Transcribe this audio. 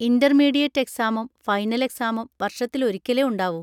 Intermediate എക്‌സാമും final എക്‌സാമും വർഷത്തിൽ ഒരിക്കലേ ഉണ്ടാവൂ.